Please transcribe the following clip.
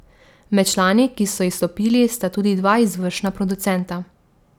Med člani, ki so izstopili, sta tudi dva izvršna producenta.